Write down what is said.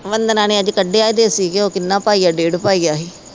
ਵੰਧਨਾ ਨੇ ਅੱਜ ਕਢਿਆ ਹੀ ਦੇਸੀ ਘਿਓ ਕਿਨ੍ਹਾ ਪਾਈਆ ਡੇਢ ਪਾਈਆ ਹੀ।